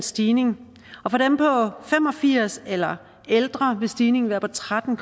stigning for dem på fem og firs år eller ældre vil stigningen være på tretten